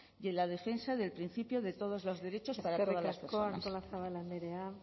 y en la defensa del principio de todos los derechos para todas las personas eskerrik asko artolazabal andrea